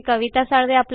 यांनी दिलेला आहे